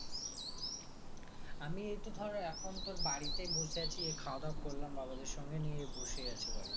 আমি এই তো ধর এখন তোর বাড়িতে বসে আছি এই খাওয়া দাওয়া করলাম বাবাদের সঙ্গে নিয়ে বসে আছি বাড়িতে